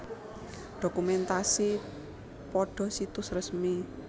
Dokumentasi pada situs resmi